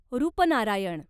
Rupnarayan